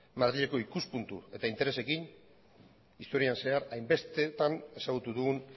madrileko ikuspuntu eta interesekin historian zehar hainbestetan ezagutu dugun